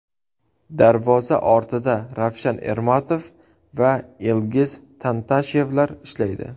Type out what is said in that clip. Darvoza ortida Ravshan Ermatov va Ilgiz Tantashevlar ishlaydi.